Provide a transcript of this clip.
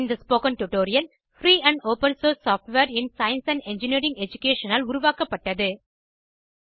இந்த spoken tutorial free and open source software in science and engineering education ஆல் உருவாக்கப்பட்டது